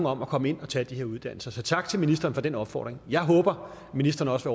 om at komme ind og tage de her uddannelser så tak til ministeren for den opfordring jeg håber at ministeren også